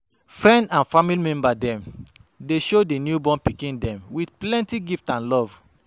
Friend and family member dem dey shower di newborn pikin dem with plenty gift and love.